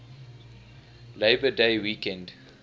labor day weekend